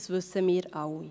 Das wissen wir alle.